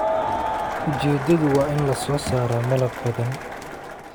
Ujeedadu waa in la soo saaro malab badan